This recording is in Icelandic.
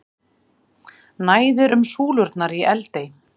Næðir um súlurnar í Eldey